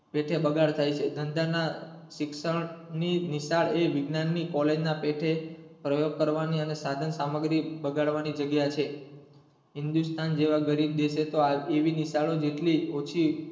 તેથી બગાડ થઈ છે ધંધા ના શિક્ષણની નિશાળ એ વિજ્ઞાનની college ના પેઠે પ્રયોગ કરવાની અને સાધન સામગ્રી બગાડવાની જગ્યા છે. હિન્દુસ્તાન જેવા ગરીબ દેશો એવી નિશાળો જેટલી ઓછી,